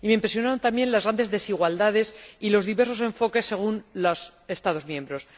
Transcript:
Me impresionaron también las grandes desigualdades y los diversos enfoques, según los Estados miembros.